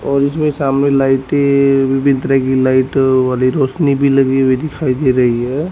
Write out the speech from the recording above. और इसमें सामने लाइटे विभिन्न तरह की लाइट वाली रोशनी भी लगी हुई दिखाई दे रही है।